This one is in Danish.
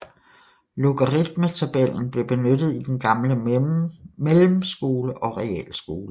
Logaritmetabellen blev benyttet i den gamle Mellemskole og Realskole